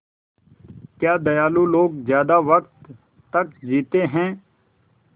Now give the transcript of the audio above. क्या दयालु लोग ज़्यादा वक़्त तक जीते हैं